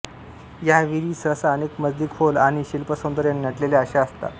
या विहीरी सहसा अनेक मजली खोल आणि शिल्पसौंदर्याने नटलेल्या अशा असतात